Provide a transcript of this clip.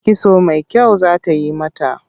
Kitso mai kyau za ta yi mata.